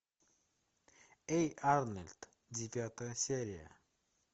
эй арнольд девятая серия